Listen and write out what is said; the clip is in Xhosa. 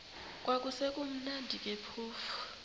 kwakusekumnandi ke phofu